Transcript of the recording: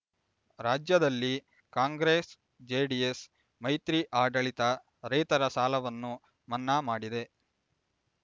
ರಾಜ್ಯದಲ್ಲಿ ಕಾಂಗ್ರೆಸ್ ಜೆಡಿಎಸ್ ಮೈತ್ರಿ ಆಡಳಿತ ರೈತರ ಸಾಲವನ್ನು ಮನ್ನಾ ಮಾಡಿದೆ